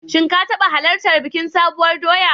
Shin ka taɓa halartar bikin Sabuwar doya?